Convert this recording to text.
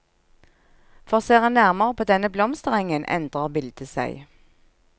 For ser en nærmere på denne blomsterengen, endrer bildet seg.